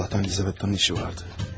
Allahdan Lizaveta'nın işi vardı.